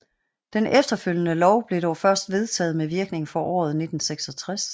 Den efterfølgende lov blev dog først vedtaget med virkning for året 1966